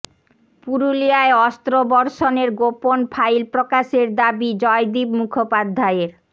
পুরুলিয়ায় অস্ত্র বর্ষণের গোপন ফাইল প্রকাশের দাবি জয়দীপ মুখোপাধ্যায়ের